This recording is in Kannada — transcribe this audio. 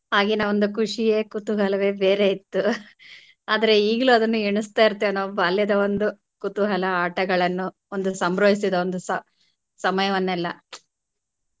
ಆಗಿನ ಒಂದು ಖುಷಿಯೆ ಕುತೂಹಲವೆ ಬೇರೆ ಇತ್ತು ಆದ್ರೆ ಈಗ್ಲೂ ಅದನ್ನ ಎಣಿಸ್ತಾಯಿರ್ತೆವೆ ನಾವು ಬಾಲ್ಯದ ಒಂದು ಕುತೂಹಲ ಆಟಗಳನ್ನು ಒಂದು ಸಂಭ್ರಮಿಸದ ಒ~ ಒಂದು ಸ~ ಸಮಯವನೆಲ್ಲಾ.